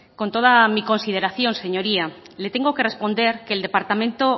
con toda mi consideración señoría le tengo que responder que el departamento